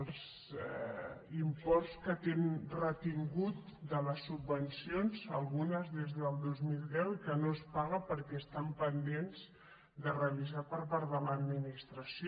els imports que té retinguts de les subvencions algunes des del dos mil deu i que no es paguen perquè estan pendents de revisar per part de l’administració